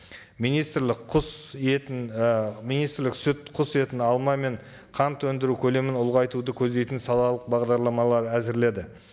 министрлік құс етін і министрлік сүт құс етін алма мен қант өндіру көлемін ұлғайтуды көздейтін салалық бағдарламалар әзірледі